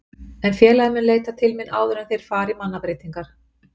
En félagið mun leita til mín áður en að þeir fara í mannabreytingar.